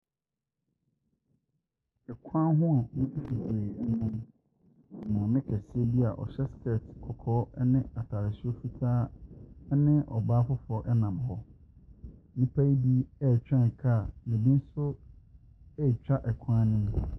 Kwan hi a nnipa bebree nam hɔ. Maame kɛseɛ bi a ɔhyɛ skirt kɔkɔɔ ne atadeɛ soro fitaa ne ɔbaa foforɔ nam hɔ. Nnipa yi bi retwɛn kaa, na bi nso retwa kwan no mu.